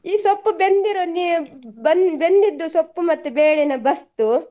ಈ ಸೊಪ್ಪು ಬೆಂದಿರೋದ್ ನೀ~ ಬೆಂದಿದ್ದು ಸೊಪ್ಪು ಮತ್ತೆ ಬೇಳೆನ ಬಸ್ದು.